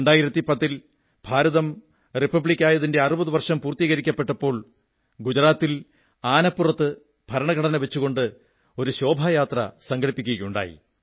2010 ൽ ഭാരതം റിപ്പബ്ലിക്കായതിന്റെ 60 വർഷം പൂർത്തീകരിക്കപ്പെട്ടപ്പോൾ ഗുജറാത്തിൽ ആനപ്പുറത്ത് ഭരണഘടനവച്ചുകൊണ്ട് ശോഭായാത്ര സംഘടിപ്പിക്കപ്പെടുകയുണ്ടായി